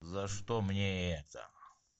за что мне это